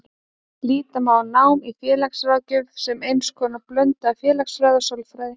Líta má á nám í félagsráðgjöf sem eins konar blöndu af félagsfræði og sálfræði.